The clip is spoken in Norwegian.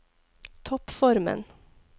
toppformen